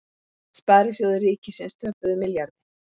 Sparisjóðir ríkisins töpuðu milljarði